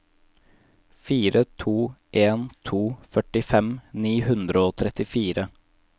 fire to en to førtifem ni hundre og trettifire